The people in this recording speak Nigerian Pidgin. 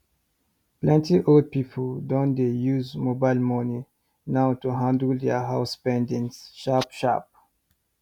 plenty old people don dey use mobile money now to handle their house spendings sharp sharp